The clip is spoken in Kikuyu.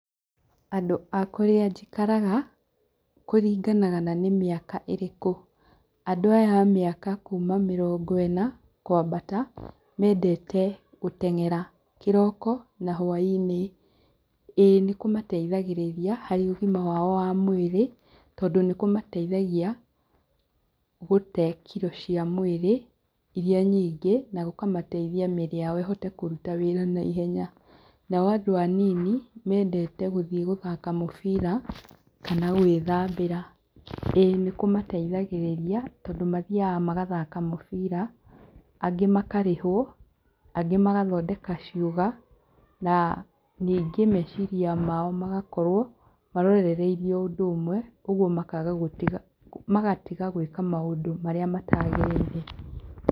Andũ a kũrĩa njikaraga, kũringanaga na nĩ mĩaka ĩrĩkũ. Andũ aya a mĩaka kuuma mĩrongo ĩna, kũambata, mendete gũteng'era, kĩroko na hwaĩ-inĩ. Ĩĩ nĩkũmateithagĩrĩria harĩ ũgima wao wa mwĩrĩ, tondũ nĩkũmateithagia gũte kiro cia mwĩrĩ, iria nyingĩ, na gũkamateithia mĩĩrĩ yao ĩhote kũruta wĩra naihenya. Nao andũ anini, mendete gũthiĩ gũthaka mũbira, kana gwĩthambĩra. Ĩĩ nĩkũmateithagĩrĩria, tondũ mathiaga magathaka mũbira, angĩ makarĩhwo, angĩ magathondeka ciũga, na ningĩ meciria mao magakorwo marorereire o ũndũ ũmwe, ũguo makaga gũtiga magatiga gũĩka maũndũ marĩa mataagĩrĩire.